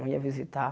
Não ia visitar.